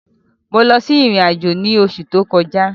Mo lọ sí ìrìn àjò ní oṣù tó kọjá.